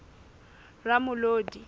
ramolodi